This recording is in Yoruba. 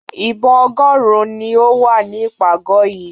Ìbọn ọgọ́rùn-ún ni ó wà ní ìpàgọ̀ yìí.